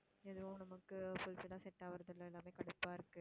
எதுவும் நமக்கு fulfill ஆ set ஆவுறது இல்லை எல்லாமே கடுப்பா இருக்கு